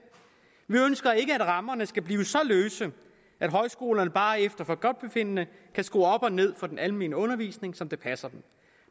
vi ønsker ikke at rammerne skal blive så løse at højskolerne bare efter forgodtbefindende kan skrue op og ned for den almene undervisning som det passer dem